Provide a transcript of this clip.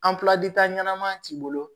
ɲɛnama t'i bolo